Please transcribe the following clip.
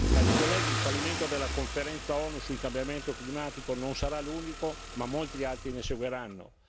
Cari colleghi, il fallimento della Conferenza ONU sul cambiamento climatico non sarà l'unico, ma molti altri ne seguiranno.